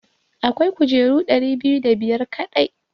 Akwai kujeru ɗari biyu da biyar kaɗai.